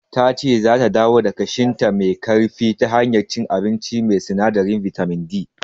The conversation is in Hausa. Tace zata dawo da kashinta me ƙarfi ta hanyar cin abinci mai sinadarin bitamin D.